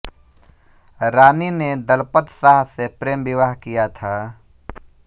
रानी ने दलपत शाह से प्रेम विवाह किया था